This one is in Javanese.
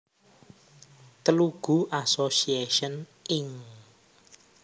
Telugu Association Inc